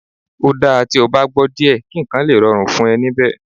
Ó dáa tí o bá gbọ́ díẹ̀ kí nǹkan lè rọrùn fún ẹ níbẹ̀